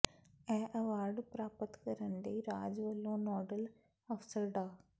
ਇਹ ਐਵਾਰਡ ਪ੍ਰਾਪਤ ਕਰਨ ਲਈ ਰਾਜ ਵੱਲੋਂ ਨੋਡਲ ਅਫਸਰ ਡਾ